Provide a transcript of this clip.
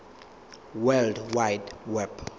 world wide web